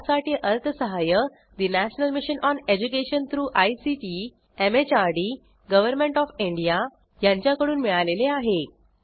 यासाठी अर्थसहाय्य national mission on education through ICT MHRD government of India यांच्याकडून मिळालेले आहे